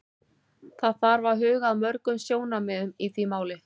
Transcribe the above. Það þarf að huga að mörgum sjónarmiðum í því máli.